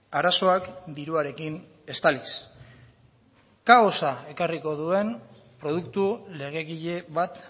arazoak diruarekin estaliz kaosa ekarriko duen produktu legegile bat